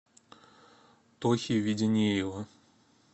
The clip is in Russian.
тохи веденеева